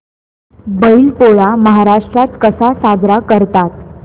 बैल पोळा महाराष्ट्रात कसा साजरा करतात